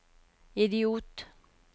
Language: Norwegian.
idiot